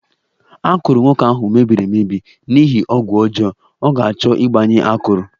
Akụrụ nwoke ahụ mebiri emebi n'ihi ọgwụ ọjọọ, ọ ga-achọ ịgbanye akụrụ